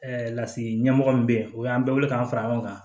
lasigi ɲɛmɔgɔ min bɛ yen o y'an bɛɛ wele k'an fara ɲɔgɔn kan